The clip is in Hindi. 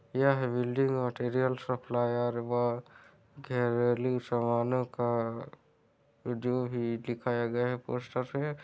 यह बिल्डिंग मटेरियल सप्लायर व घरेलू सामानो का का जो भी ही दिखाया गया है पोस्टर पे--